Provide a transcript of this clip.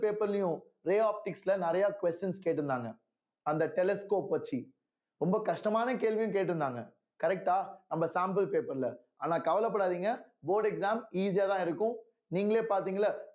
paper லயும் நிறைய questions கேட்டிருந்தாங்க அந்த telescope வெச்சு ரொம்ப கஷ்டமான கேள்வியும் கேட்டிருந்தாங்க correct ஆ நம்ம sample paper ல ஆனா கவலைப்படாதீங்க board exam easy யாதான் இருக்கும் நீங்களே பார்த்தீங்கல்ல